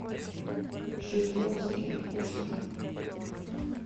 жидковский пушка